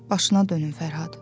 Başına dönüm Fərhad.